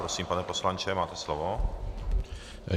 Prosím, pane poslanče, máte slovo.